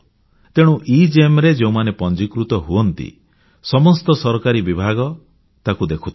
ତେଣୁ ଏଗେମ୍ ରେ ଯେଉଁମାନେ ପଂଜୀକୃତ ହୁଅନ୍ତି ସମସ୍ତ ସରକାରୀ ବିଭାଗ ତାକୁ ଦେଖୁଥାନ୍ତି